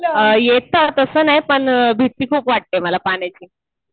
येतं तसं नाही पण भीती खूप वाटते मला पाण्याची